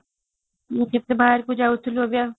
ମୁଁ କେତେ ବାହାରକୁ ଯାଉଥିଲୁ ଏବେ ଆଉ |